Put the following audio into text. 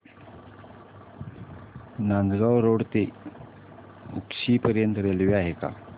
Nandgaon road ते उक्षी पर्यंत railway आहे का